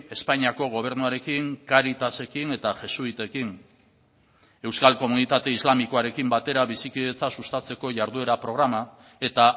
espainiako gobernuarekin cáritasekin eta jesuitekin euskal komunitate islamikoarekin batera bizikidetza sustatzeko jarduera programa eta